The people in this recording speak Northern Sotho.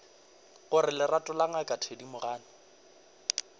gore lerato le ngaka thedimogane